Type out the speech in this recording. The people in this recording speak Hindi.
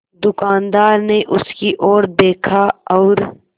दुकानदार ने उसकी ओर देखा और